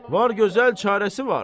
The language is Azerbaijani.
Var, gözəl çarəsi var.